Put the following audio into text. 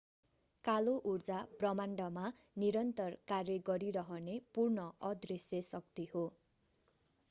कालो ऊर्जा ब्रह्माण्डमा निरन्तर कार्य गरिरहने पूर्ण अदृश्य शक्ति हो